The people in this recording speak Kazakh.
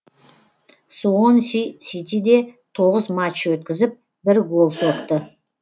суонси ситиде тоғыз матч өткізіп бір гол соқты